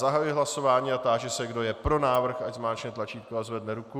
Zahajuji hlasování a táži se, kdo je pro návrh, ať zmáčkne tlačítko a zvedne ruku.